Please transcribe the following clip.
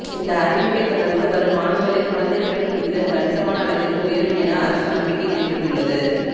இந்த அறிவிப்பை தொடர்ந்து வரும் ஆண்டுகளில் குழந்தை பிறப்பு விகிதம் கணிசமான அளவிற்கு உயரும் என அரசு நம்பிக்கை தெரிவித்துள்ளது